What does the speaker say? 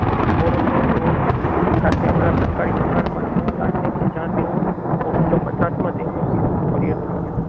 Aurangzeb road Delhi ખાતે આવેલા સરકારી મકાનમાં રહેવા લાગ્યા કે જ્યાં તેઓ ઓગણીસો પચાસ માં તમના પરિહત રહ્યા